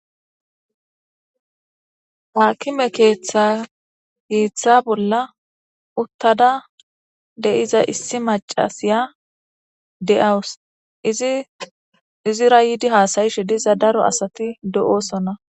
Haakime keeththa keththa bolla issi maccashiya ichchada da'ewus izira hasayishe diza daro asati deyosona